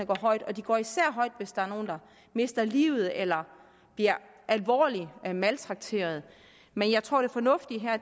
går højt og de går især højt hvis der er nogle der mister livet eller bliver alvorligt maltrakteret men jeg tror det fornuftige her